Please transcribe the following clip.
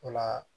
O la